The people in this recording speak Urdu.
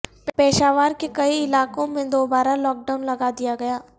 پشاور کے کئی علاقوں میں دوبارہ لاک ڈائون لگا دیا گیا